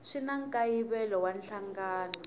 swi na nkayivelo wa nhlangano